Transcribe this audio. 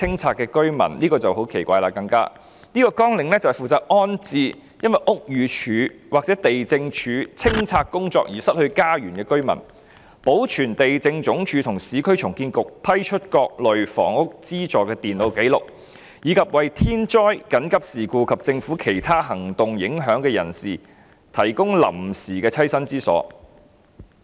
這個綱領下的工作是負責安置因屋宇署或地政總署執行清拆工作而失去家園的居民，保存地政總署和市區重建局批出各類房屋資助的電腦紀錄，以及為受天災、緊急事故及政府其他行動影響的人士提供臨時棲身之所。